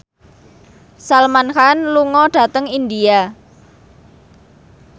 Salman Khan lunga dhateng India